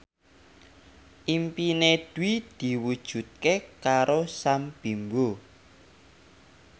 impine Dwi diwujudke karo Sam Bimbo